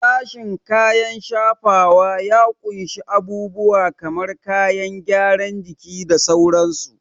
Sashen kayan shafawa ya ƙunshi abubuwa kamar kayan gyaran jiki da sauransu.